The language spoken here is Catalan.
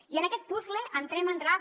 i en aquest puzle entrem al